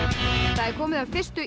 það er komið að fyrstu